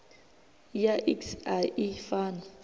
ya iks a i fani